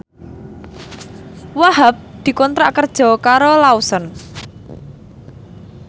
Wahhab dikontrak kerja karo Lawson